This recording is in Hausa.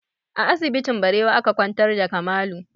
A asibitin Barewa aka kwantar da Kamalu